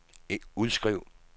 udskriv